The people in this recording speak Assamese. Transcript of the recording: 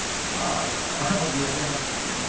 বাহ বিয়া দিয়া হʼল,